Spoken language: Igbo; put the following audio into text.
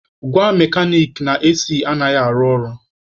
Gwa mekanik na AC anaghị arụ ọrụ.